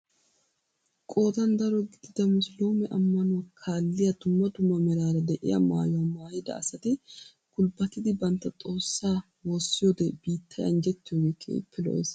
Qoodan daro gidida musuluume ammanuwaa kaalliyaa dumma dumma meraara de'iyaa maayuwaa maayida asati gulbbatidi bantta xoossaa woossiyoode biittay anjjettiyoogee keehippe lo"ees.